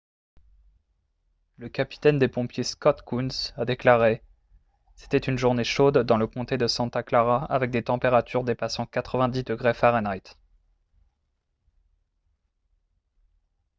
le capitaine des pompiers scott kouns a déclaré :« c’était une journée chaude dans le comté de santa clara avec des températures dépassant 90 °f